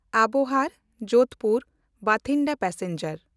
ᱟᱵᱚᱦᱟᱨ–ᱡᱳᱫᱷᱯᱩᱨ–ᱵᱟᱴᱷᱤᱱᱰᱟ passenger